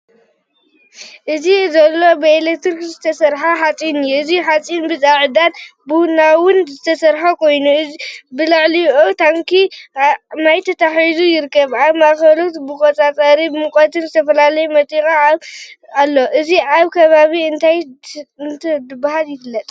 እዚ ዘሎ ብኤሌክትሪክ ዝተሰርሐ ሓጺን እዩ። እቲ ሓጺን ብጻዕዳን ቡናውን ዝተሰርሐ ኮይኑ፡ ኣብ ልዕሊኡ ታንኪ ማይ ተተሓሒዙ ይርከብ። ኣብ ማእከሉ መቆጻጸሪ ሙቐትን ዝተፈላለዩ መጠወቒታትን ኣሎ። እዚ ኣብ ከባቢኩም እንታይ እንዳተባሃለ ይፍለጥ?